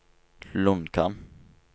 Lonkan